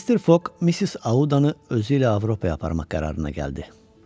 Mister Foq Missis Audanı özü ilə Avropaya aparmaq qərarına gəldi.